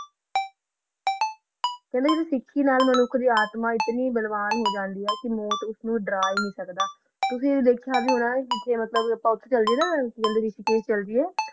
ਬੋਲੋ ਓਨ੍ਦਾ ਸਿਖ ਦਾ ਨਾਲ ਆਤਮਾ ਆਨੀ ਸ਼ਾਂਤ ਹੋ ਜਾਂਦੀ ਆ ਕੋਈ ਮੋਅਤ ਨੂ ਦਰ ਹੀ ਅਨ੍ਹੀ ਸਕਦਾ ਕੁ ਕਾ ਮਤਲਬ ਆ ਆ ਕਾ ਕੋਈ ਖੋਫ਼ ਚਲ ਜਯਾ ਨਾ ਤਾ ਓਨ੍ਦਾ ਚ ਜਿੰਦਗੀ ਚਲੀ ਆ